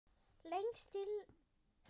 Lengst í landnorðri.